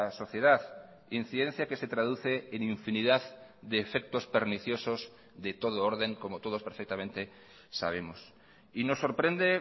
sociedad incidencia que se traduce en infinidad de efectos perniciosos de todo orden como todos perfectamente sabemos y nos sorprende